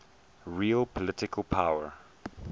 real political power